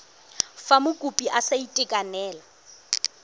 fa mokopi a sa itekanela